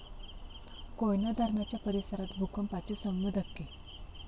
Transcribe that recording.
कोयना धरणाच्या परिसरात भूकंपाचे सौम्य धक्के